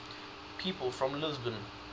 people from lisbon